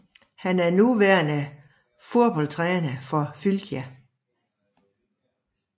Han er nuværende fodboldtræner for Fylkir